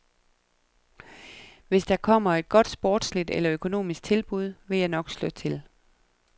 Hvis der kommer et godt sportsligt eller økonomisk tilbud, vil jeg nok slå til.